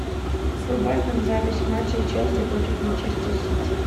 врубай нам запись матча челси против манчестер сити